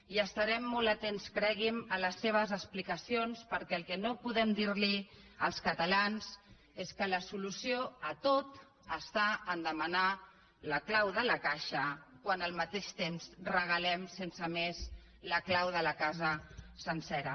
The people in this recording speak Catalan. i estarem molt atents cregui’m a les seves explicacions perquè el que no podem dir als catalans és que la solució a tot està a demanar la clau de la caixa quan al mateix temps regalem sense més la clau de la casa sencera